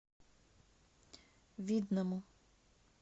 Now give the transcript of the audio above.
видному